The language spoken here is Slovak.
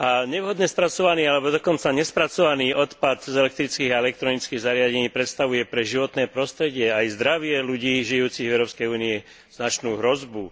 Nevhodne spracovaný alebo dokonca nespracovaný odpad z elektrických a elektronických zariadení predstavuje pre životné prostredie aj zdravie ľudí žijúcich v Európskej únii značnú hrozbu.